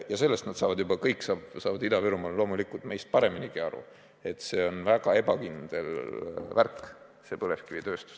Ja sellest saavad nad Ida-Virumaal juba meist pareminigi aru, et põlevkivitööstus on väga ebakindel värk.